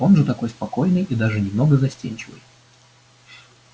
он же такой спокойный и даже немного застенчивый